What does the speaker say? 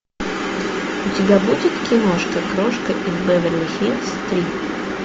у тебя будет киношка крошка из беверли хиллз три